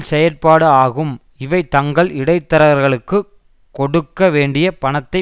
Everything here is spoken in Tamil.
செயற்பாடு ஆகும் இவை தங்கள் இடைத்தரகர்களுக்கு கொடுக்க வேண்டிய பணத்தை